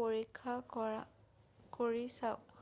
পৰীক্ষা কৰি চাওক